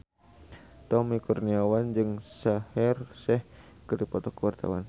Tommy Kurniawan jeung Shaheer Sheikh keur dipoto ku wartawan